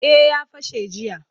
Eh ya fashe jiya